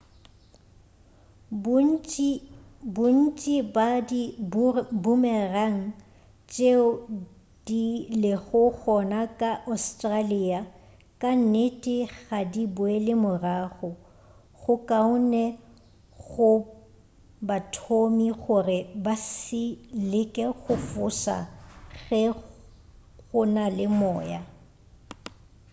bontši bja di-boomerang tšeo di lego gona ka australia ka nnete ga di boele morago go kaone go bathomi gore ba se leke go foša ge go na le moya